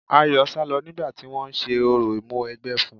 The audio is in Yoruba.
Ayọ̀ sálọ nígbà tí wọ́n ń ṣe orò Ìmúwẹgbẹ́ fún un.